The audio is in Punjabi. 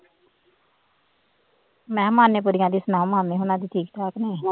ਮੈਂ ਮਾਨੇ ਕੁੜੀਆਂ ਦੀ ਸਲਾਹ ਮੰਨ ਲੈ ਹੁਣ ਅੱਜ ਠੀਕ ਠਾਕ ਹਾਂ